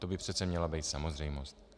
To by přece měla být samozřejmost.